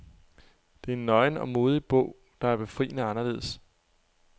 Det er en nøgen og modig bog, der er befriende anderledes.